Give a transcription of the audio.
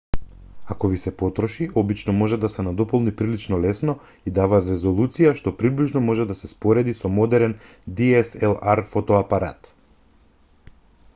ако ви се потроши обично може да се надополни прилично лесно и дава резолуција што приближно може да се спореди со модерен dslr-фотоапарат